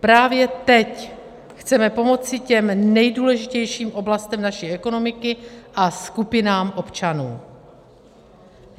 Právě teď chceme pomoci těm nejdůležitějším oblastem naší ekonomiky a skupinám občanů.